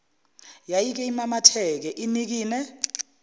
yayike imamatheke inikine